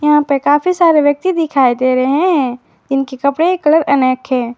यहां पे काफी सारे व्यक्ति दिखाई दे रहे हैं इनके कपड़े के कलर अनेक हैं।